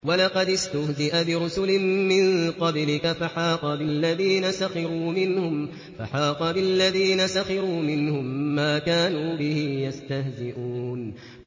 وَلَقَدِ اسْتُهْزِئَ بِرُسُلٍ مِّن قَبْلِكَ فَحَاقَ بِالَّذِينَ سَخِرُوا مِنْهُم مَّا كَانُوا بِهِ يَسْتَهْزِئُونَ